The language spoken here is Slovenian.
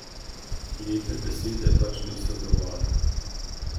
Lepe besede pač niso dovolj.